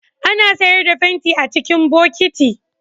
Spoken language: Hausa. Ana sayar da fenti a cikin bokiti